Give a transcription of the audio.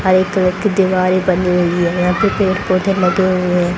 White colour की दीवारे बनी हुई है यहां पे पेड़ पौधे लगे हुए है।